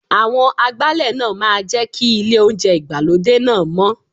Àwọn Agbálẹ̀ náà máa jẹ́ kí ilé oúnjẹ ìgbàlódé náà mọ́.